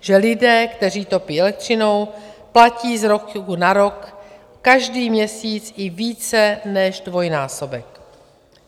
Že lidé, kteří topí elektřinou, platí z roku na rok každý měsíc i více než dvojnásobek.